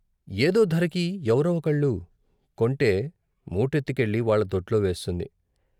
ఏదో ధరకి ఎవరో ఒకళ్ళు కొంటే మూటెత్తుకెళ్ళి వాళ్ళ దొడ్లో వేస్తుంది.